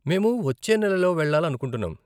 మేము వచ్చే నెలలో వెళ్ళాలనుకుంటున్నాం.